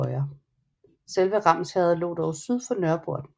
Selve Ramsherred lå dog syd for Nørreporten